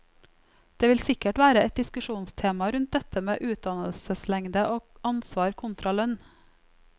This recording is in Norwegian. Det vil sikkert være et diskusjonstema rundt dette med utdannelseslengde og ansvar kontra lønn.